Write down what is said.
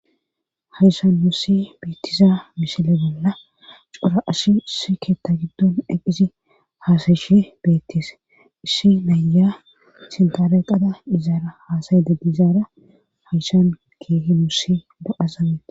Hayshan mussi biittiza mishile banna cora ashi issi keetta giddon eqqisi haasayishi beettise isshi naya sintare qada izaara haasayededi izaara hayshan keehi mussi do'asamee.